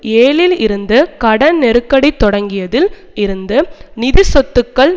ஏழில் இருந்து கடன் நெருக்கடி தொடங்கியதில் இருந்து நிதி சொத்துக்கள்